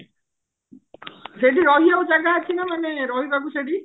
ସେଠି ରହିବାକୁ ଜାଗା ଅଛି ନା ମାନେ ରହିବାକୁ ସେଠି